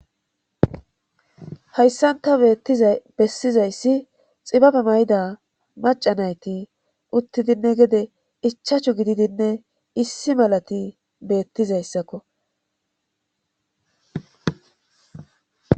Hayssanta beettiza bessizayssi xibabe mayda macanayti uttidinne gede ichachu gididinne issi malati beettizayssakko